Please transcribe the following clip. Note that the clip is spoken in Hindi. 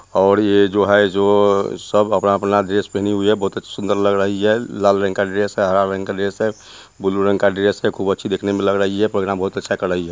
और ये जो है जो सब अपना-अपना ड्रेस पहनी हुई है बहुत सुन्दर लग रही है लाल रंग का ड्रेस है हरा रंग का ड्रेस है ब्लू रंग का ड्रेस है खूब अच्छी देखने में लग रही है प्रोग्राम बहुत अच्छा कर रही है।